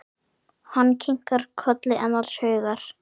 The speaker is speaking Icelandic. Hann kinkar kolli annars hugar.